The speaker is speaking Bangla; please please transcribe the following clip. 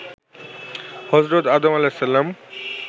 হযরত আদম আঃ